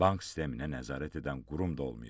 Bank sisteminə nəzarət edən qurum da olmayıb.